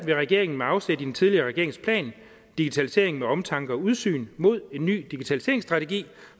vil regeringen med afsæt i den tidligere regerings plan digitalisering med omtanke og udsyn mod en ny digitaliseringsstrategi